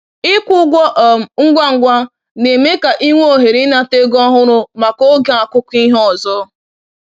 Ịkwụ ụgwọ um ngwa ngwa na-eme ka i nwee ohere ịnata ego ọhụrụ maka oge akụkụ ihe ọzọ.